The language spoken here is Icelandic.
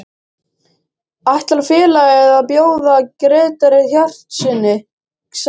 Ætlar félagið að bjóða Grétari Hjartarsyni samning?